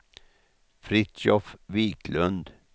Fritiof Viklund